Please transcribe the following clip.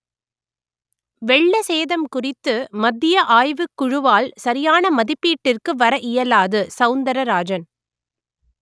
வெள்ள சேதம் குறித்து மத்திய ஆய்வுக் குழுவால் சரியான மதிப்பீட்டிற்கு வர இயலாது சவுந்தரராஜன்